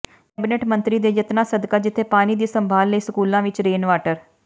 cabinet ਮੰਤਰੀ ਦੇ ਯਤਨਾ ਸਦਕਾ ਜਿਥੇ ਪਾਣੀ ਦੀ ਸੰਭਾਲ ਲਈ ਸਕੂਲਾਂ ਵਿੱਚ ਰੇਨ ਵਾਟਰ